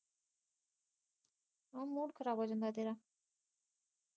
ਉਹ ਮੂਡ ਖਰਾਬ ਹੋ ਜਾਂਦਾ ਤੇਰਾ